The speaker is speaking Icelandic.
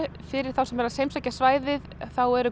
fyrir þá sem eru að heimsækja svæðið þá eru